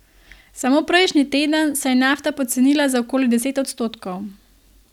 Samo prejšnji teden se je nafta pocenila za okoli deset odstotkov.